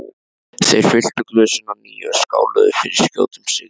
Þeir fylltu glösin að nýju og skáluðu fyrir skjótum sigri.